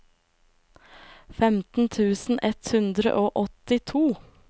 femten tusen ett hundre og åttito